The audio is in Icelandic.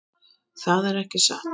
Það er ekki satt.